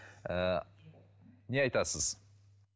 ыыы не айтасыз